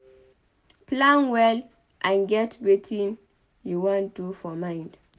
plan well and get wetin you wan do for mind